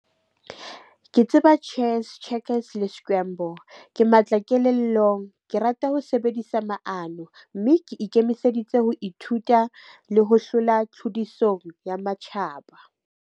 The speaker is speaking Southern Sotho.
Ke tseba chess, checkers le scramble. Ke matla kelellong, ke rata ho sebedisa maano, mme ke ikemiseditse ho ithuta le ho hlola tlhodisong ya matjhaba.